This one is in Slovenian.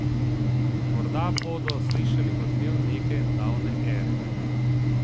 Morda bodo slišali odmev neke davne ere.